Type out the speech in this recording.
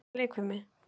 Ertu góður í leikfimi?